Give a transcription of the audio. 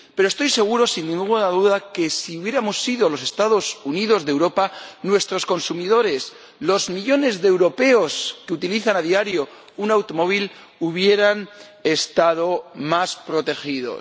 Pero estoy seguro, sin ninguna duda, de que si hubiéramos sido los Estados Unidos de Europa, nuestros consumidores, los millones de europeos que utilizan a diario un automóvil, habrían estado más protegidos.